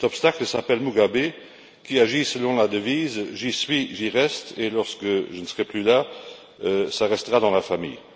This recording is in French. Cet obstacle s'appelle Mugabe, qui agit selon la devise j'y suis, j'y reste, et lorsque je ne serai plus là, ça restera dans la famille.